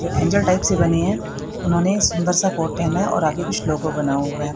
जो angel type से बने हैं उन्होंने सुंदर सा कोट पहना है और आगे कुछ लोगो बना हुआ है।